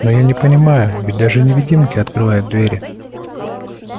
но я не понимаю ведь даже невидимки открывают двери